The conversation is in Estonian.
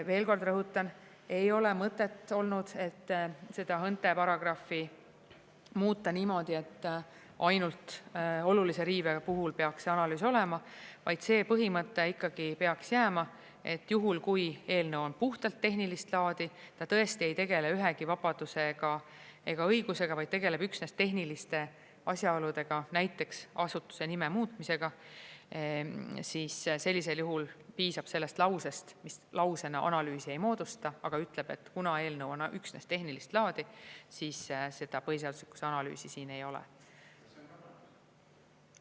Veel kord rõhutan: ei ole mõtet olnud, et seda HÕNTE paragrahvi muuta niimoodi, et ainult olulise riive puhul peaks see analüüs olema, vaid see põhimõte ikkagi peaks jääma, et juhul kui eelnõu on puhtalt tehnilist laadi, ta tõesti ei tegele ühegi vabaduse ega õigusega, vaid tegeleb üksnes tehniliste asjaoludega, näiteks asutuse nime muutmisega, siis sellisel juhul piisab sellest lausest, mis lausena analüüsi ei moodusta, aga ütleb, et kuna eelnõu on üksnes tehnilist laadi, siis seda põhiseaduslikkuse analüüsi siin ei ole.